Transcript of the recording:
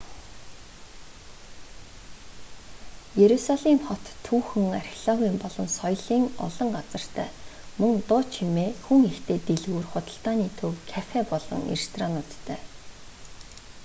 иерусалим хот түүхэн археологийн болон соёлын олон газартай мөн дуу чимээ хүн ихтэй дэлгүүр худалдааны төв кафе болон ресторануудтай